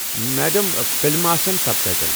Madam فلمہِ آسَن subtitle.